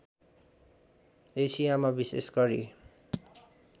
एसियामा विशेष गरी